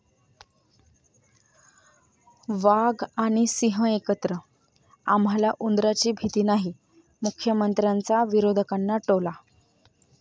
वाघ आणि सिंह एकत्र, आम्हाला उंदरांची भीती नाही, मुख्यमंत्र्यांचा विरोधकांना टोला